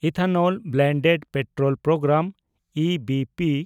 ethanol blended petrol programme (E B P)